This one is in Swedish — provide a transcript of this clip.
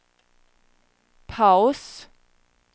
paus